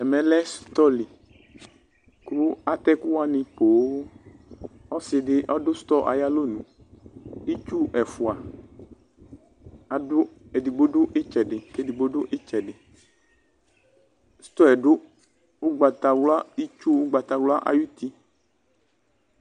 Ɛmɛ lɛ stɔli: kʋ atɛ ɛkʋ wanɩ poooƆsɩ dɩ ɔdʋ stɔ ayalonuItsu ɛfʋa, adʋ ,edigbo dʋ ɩtsɛdɩ kedigbo dʋ ɩtsɛdɩStɔɛ dʋ ʋgbatawla, itsu ʋgbawla ayuti